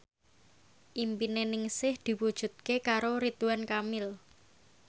impine Ningsih diwujudke karo Ridwan Kamil